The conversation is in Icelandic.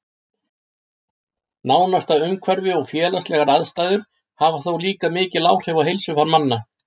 Nánasta umhverfi og félagslegar aðstæður hafa þó líka mikil áhrif á heilsufar manna.